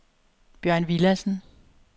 Bjørn Villadsen